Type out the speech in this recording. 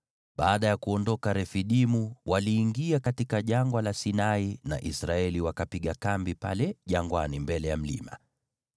Baada ya kuondoka Refidimu, waliingia katika Jangwa la Sinai na Israeli wakapiga kambi pale jangwani mbele ya mlima.